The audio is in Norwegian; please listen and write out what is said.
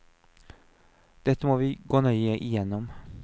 Dette må vi gå nøye igjennom.